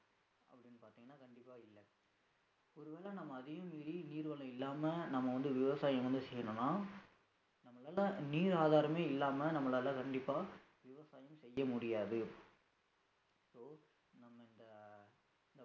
ஒருவேளை நம்ம அதையும் மீறி நீர் வளம் இல்லாம நம்ம வந்து விவசாயம் வந்து செய்யணும்ன்னா நம்மளால நீர் ஆதாரமே இல்லாம நம்மளால கண்டிப்பா விவசாயம் செய்ய முடியாது